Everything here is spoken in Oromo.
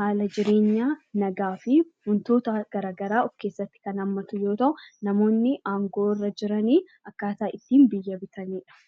haala jireenyaa, nagaa fi waantota garaagaraa kan of keessatti hammate yoo ta'u, namoonni aangoo irra jiran akkaataa ittiin biyya bitanidha.